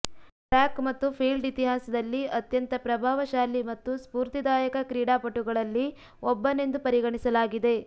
track ಮತ್ತು field ಇತಿಹಾಸದಲ್ಲಿ ಅತ್ಯಂತ ಪ್ರಭಾವಶಾಲಿ ಮತ್ತು ಸ್ಪೂರ್ತಿದಾಯಕ ಕ್ರೀಡಾಪಟುಗಳಲ್ಲಿ ಒಬ್ಬನೆಂದು ಪರಿಗಣಿಸಲಾಗಿದೆ